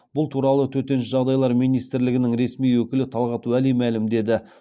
бұл туралы төтенше жағдайлар министрлігінің ресми өкілі талғат уәли мәлімдеді